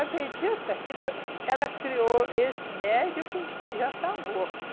Acredita que deu ela criou esse médico e já está morto.